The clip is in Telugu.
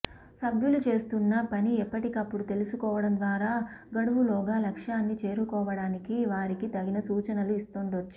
సభ్యులు చేస్తున్న పని ఎప్పటికప్పుడు తెలుసుకోవడం ద్వారా గడువు లోగా లక్ష్యాన్ని చేరుకోవడానికి వారికి తగిన సూచనలు ఇస్తుండొచ్చు